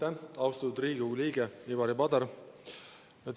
Aitäh, austatud Riigikogu liige Ivari Padar!